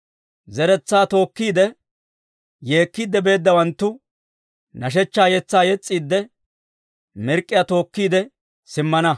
Zeretsaa tookkiide, yeekkiidde beeddawanttu, nashshechchaa yetsaa yes's'iidde, mirk'k'iyaa tookkiide simmana.